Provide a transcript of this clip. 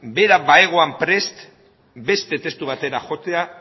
bera bazegoen prest beste testu batera joatea